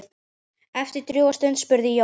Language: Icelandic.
Eftir drjúga stund spurði Jón